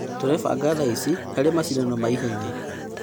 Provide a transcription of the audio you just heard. Tũrebanga thaici harĩ macindano ma-ihenya.